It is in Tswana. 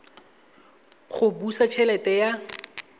go busa t helete ya